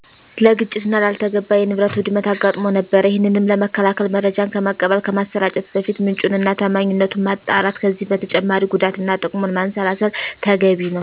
ለግጭትና ላልተገባ የንብረት ውድመት አጋጥሞ ነበር። ይሄንንም ለመከላከል መረጃን ከመቀበል፣ ከማሰራጨት በፊት ምንጩን እና ታማኝነቱን ማጣራት ከዚህም በተጨማሪ ጉዳትና ትቅሙን ማንሰላሰል ተገቢ ነው።